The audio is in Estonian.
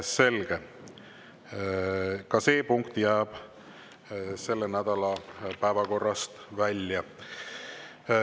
Selge, see punkt jääb selle nädala päevakorrast välja.